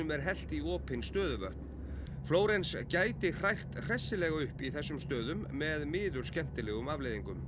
er hellt í opin stöðuvötn Flórens gæti hrært hressilega upp í þessum stöðum með miður skemmtilegum afleiðingum